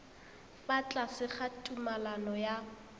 fa tlase ga tumalano ya